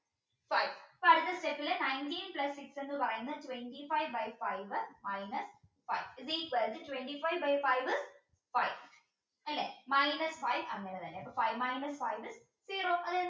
ഇപ്പോ അടുത്ത step ലെ nineteen plus six എന്ന് പറയുന്ന twenty five by five minus five is equal to twenty five by five five അല്ലേ minus five അങ്ങനെ തന്നെ അപ്പോ five minus five zero